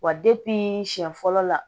Wa siɲɛ fɔlɔ la